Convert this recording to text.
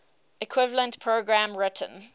equivalent program written